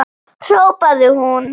hrópaði hún.